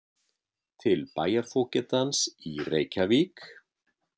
Til bæjarfógetans í Reykjavík